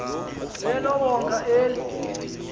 elo wonga eli